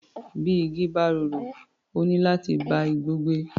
Bí igi bá rorò, ó níláti bá igbó gbé.